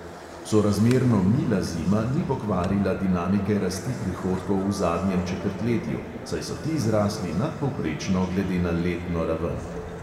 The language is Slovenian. Sorazmerno mila zima ni pokvarila dinamike rasti prihodkov v zadnjem četrtletju, saj so ti zrasli nadpovprečno glede na letno raven.